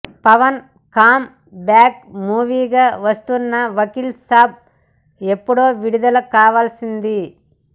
Pawan come back మూవీగా వస్తున్న వకీల్ సాబ్ ఎప్పుడో విడుదల కావాల్సింది